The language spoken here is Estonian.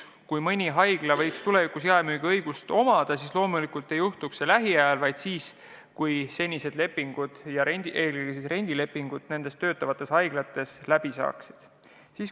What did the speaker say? Kui mõnel haiglal võiks tulevikus jaemüügiõigus olla, siis loomulikult ei juhtuks see lähiajal, vaid siis, kui senised lepingud, eelkõige rendilepingud nendes haiglates on lõppenud.